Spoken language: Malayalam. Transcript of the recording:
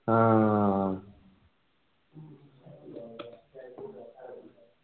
ആഹ്